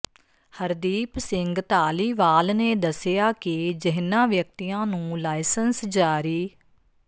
ਹਰਦੀਪ ਸਿੰਘ ਧਾਲੀਵਾਲ ਨੇ ਦੱਸਿਆ ਕਿ ਜਿਨ੍ਹਾਂ ਵਿਅਕਤੀਆਂ ਨੂੰ ਲਾਇਸੰਸ ਜਾਰੀ